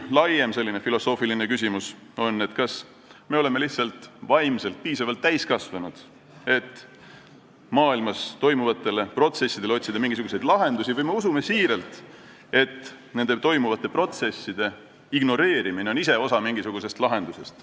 Laiem filosoofiline küsimus on pigem see, kas me oleme lihtsalt vaimselt piisavalt täiskasvanud, et otsida maailmas toimuvatele protsessidele mingisuguseid lahendusi, või usume siiralt, et nende protsesside ignoreerimine on ise osa mingisugusest lahendusest.